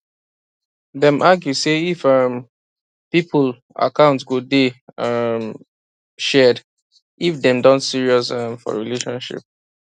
dem argue say if um people account go day um shared if dem don serious um for relationship